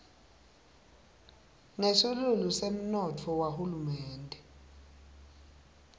nesilulu semnotfo wahulumende